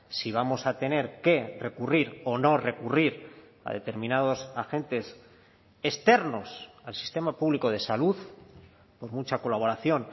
si vamos a tener que recurrir o no recurrir a determinados agentes externos al sistema público de salud por mucha colaboración